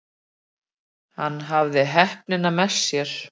Hann hafði heppnina með sér.